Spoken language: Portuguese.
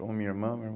Ou minha irmã, meu